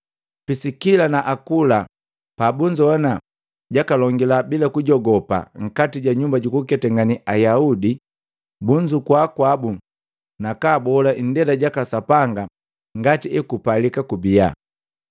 Pisikila na Akula pabunzowana jakalongila bila kujogopa nkati ja nyumba jukuketangane Ayaudi, bunzukua kwabu nakabola indela jaka Sapanga ngati ekupalika kubiya.